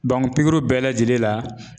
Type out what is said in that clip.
pikiriw bɛɛ lajɛlen la